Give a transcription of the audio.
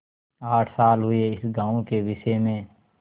आठ साल हुए इस गॉँव के विषय में